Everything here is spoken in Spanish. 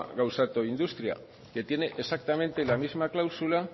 gauzatu industria que tiene exactamente la misma cláusula